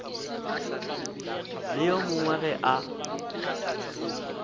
le yo mongwe ge a